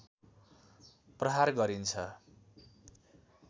प्रहार गरिन्छ